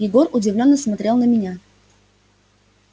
егор удивлённо смотрел на меня